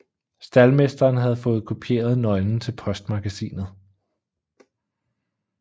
Staldmesteren havde fået kopieret nøglen til postmagasinet